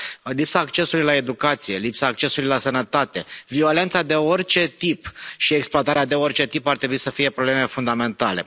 Lipsa accesului la educație, lipsa accesului la sănătate, violența de orice tip și exploatarea de orice tip ar trebui să fie probleme fundamentale.